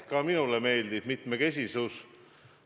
Ka minule meeldib mitmekesisus.